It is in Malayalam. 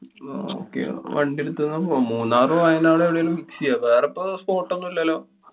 okay വണ്ടി എടുത്തുതന്നെ പോവാം. മൂന്നാറ്, വയനാട് എവിടെങ്കിലും ചെയ്യാം. വേറെപ്പൊ spot ഒന്നും ഇല്ലല്ലോ?